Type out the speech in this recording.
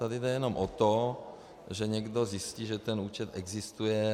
Tady jde jenom o to, že někdo zjistí, že ten účet existuje.